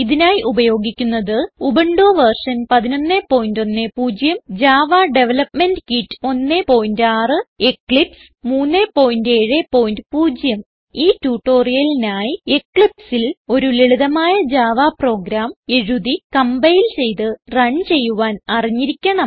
ഇതിനായി ഉപയോഗിക്കുന്നത് Ubuntu version 1110 Java development kit 16 Eclipse 370 ഈ ട്യൂട്ടോറിയലിനായി eclipseൽ ഒരു ലളിതമായ javaപ്രോഗ്രാം എഴുതി കംപൈൽ ചെയ്ത് റൺ ചെയ്യുവാൻ അറിഞ്ഞിരിക്കണം